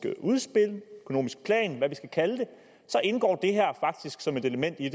udspil en økonomisk plan eller hvad vi skal kalde det så indgår det her faktisk som et element i